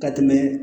Ka tɛmɛ